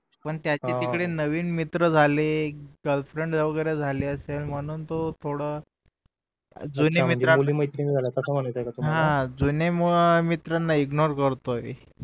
पण त्याचे तिकडे नवीन मित्र झाले गिर्ल्फ्रेन्ड वैगेरे झाली असेल म्हणून तो थोडं जुन्या मित्र मुली मैत्रिणी झाल्या असं म्हणायचं आहे का तुम्हाला जुन्या मित्रांना इग्नोर करतोय